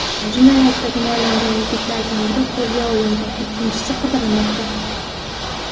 Jinoyatda gumonlangan yigitlardan biri qo‘lga olingan, ikkinchisi qidirilmoqda.